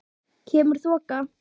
Kemur þoka.